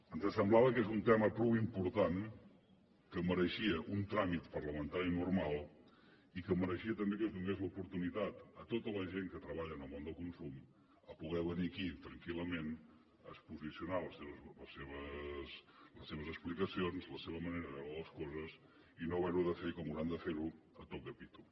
ens semblava que és un tema prou important que mereixia un tràmit parlamentari normal i que mereixia també que es donés l’oportunitat a tota la gent que treballa en el món del consum de poder venir aquí tranquil·lament a exposar les seves explicacions la seva manera de veure les coses i no haver ho de fer com hauran de fer ho a toc de pito